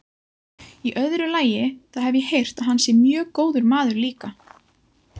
Í öðru lagi, þá hef ég heyrt að hann sé mjög góður maður líka.